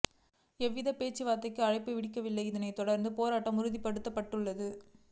எவ்வித பேச்சுவார்த்தைக்கும் அழைப்பு விடுக்கவில்லை இதனை தொடர்ந்தே போராட்டம் உறுதிப்படுத்தப்பட்டது